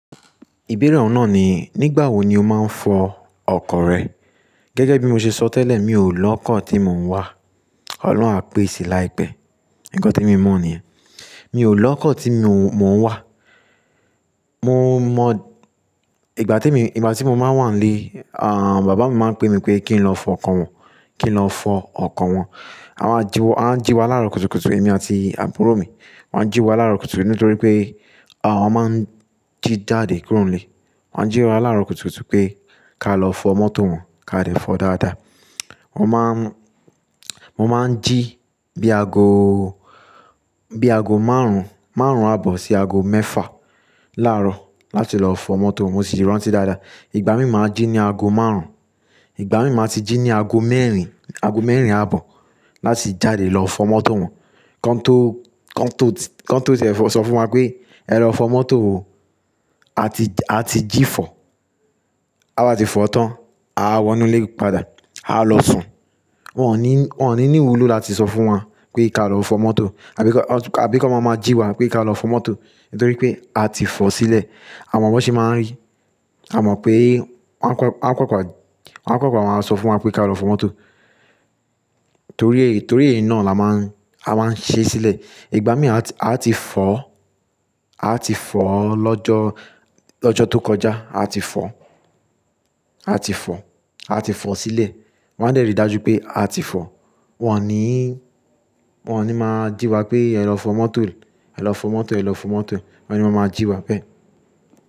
Ìbéèrè ọ̀hun náà ni, nígbà wo ni o máa ń fọ ọkọ̀ rẹ? Gẹ́gẹ́ bí mo ṣe sọ tẹ́lẹ̀, mi ò lọ́kọ̀ tí mò ń wà. Ọlọ́run á pèsè láìpẹ́. Nǹkan tí mo mọ̀ nìyẹn. Mi ò lọ́kọ̀ tí mò ń wà. Mo mọ ìgbà tí mo, ìgbà tí mo máa ń wà nílé, à, bàbá mi máa ń pé mi pé kí n lọ fọ ọkọ̀ wọn, kí n lọ fọ ọkọ̀ wọn. A máa jí wa, wọ́n máa ń jí wa lára kùtùkùtù, èmi àti àbúrò mi. Wọ́n á jí wa lára kùtùkùtù nítorí pé, à, wọ́n máa ń jí jáde kúrò nílé. Wọ́n á jí wa lára kùtùkùtù pé ká lọ fọ mọ́tò wọn, ká dé fọ dáadáa. Wọ́n má ń, mo máa ń jí bí aago, bí aago márùn-ún, márùn-ún àbọ̀ sí aago mẹ́fà láàrọ̀ láti lọ fọ mọ́tò wọn, mo sì rántí dáadáa. Ìgbà mí máa ń jí ní aago márùn-ún, ìgbà mí máa ti jí ní aago mẹ́rin, aago mẹ́rin àbọ̀ láti jáde lọ fọ mọ́tò wọn. Kán tó, kán tó ti, kán tó tí ẹ fọ, sọ fún wa pé, "Ẹ lọ fọ mọ́tò wo", a ti, a ti jí fọ̀, taba ti fọ̀ tán, á wọnú ilé padà, á lọ sùn. Wọn ò ní, wọ́n ò ní ní ìwúlò láti sọ fún wa pé ká lọ fọ mọ́tò àbíkan àbíkan máa ma jí wa pé ká lọ fọ mọ́tò nítorí pé a ti fọ̀ sílẹ̀. Amọ̀ bó ṣe máa ń rí. A mọ̀ pé wọ́n á kópa, wọ́n á papa maá sọ fún wa pé ká lọ fọ mọ́tò torí èyí, torí èyí náà la máa ń, a máa ń ṣe sílẹ̀. Ìgbà mí a ti, a ti fọ̀, a ti fọ̀ lọ́jọ́, lọ́jọ́ tó kọjá. A ti fọ̀, a ti fọ̀, a ti fọ̀ sílẹ̀. Wọ́n á dẹ̀rí dájú pé a ti fọ̀. Wọn ò ní, wọ́n ò ní máa jí wa pé, "Ẹ lọ fọ mọ́tò, ẹ lọ fọ mọ́tò, ẹ lọ fọ mọ́tò." Wọn ò ní máa máa jí wa bẹ́ẹ̀.